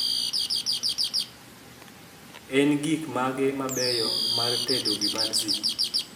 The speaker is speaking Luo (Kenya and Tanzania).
en gik mage mabeyo mar tedo vibanzi